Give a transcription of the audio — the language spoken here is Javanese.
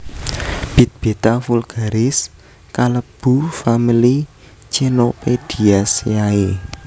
Bit Beta vulgaris kalebu famili Chenopodiaceae